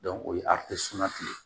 o ye ye